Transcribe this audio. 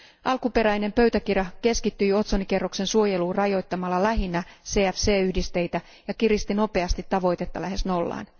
Alkuperäisessä pöytäkirjassa keskityttiin otsonikerroksen suojeluun rajoittamalla lähinnä CFC yhdisteitä ja kiristettiin nopeasti tavoitetta lähes nollaan.